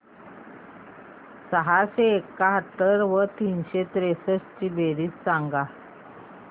सहाशे एकाहत्तर व तीनशे त्रेसष्ट ची बेरीज सांगा